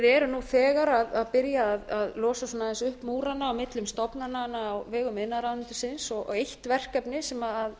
erum nú þegar að byrja að losa svona upp múrana millum stofnananna á vegum iðnaðarráðuneytisins og eitt verkefni sem